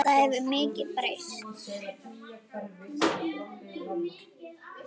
Það hefur mikið breyst.